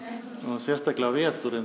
sérstaklega um veturinn